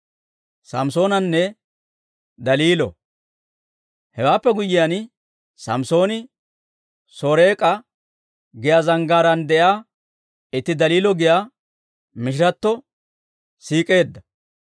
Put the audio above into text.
Hewaappe guyyiyaan, Samssooni Soreek'a giyaa zanggaaraan de'iyaa itti Daliilo giyaa mishiratto siik'eedda.